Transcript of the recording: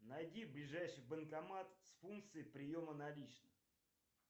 найди ближайший банкомат с функцией приема наличных